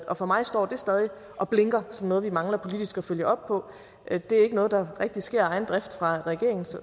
og for mig står det stadig og blinker som noget vi mangler politisk at følge op på det er ikke noget der rigtig sker af egen drift fra regeringens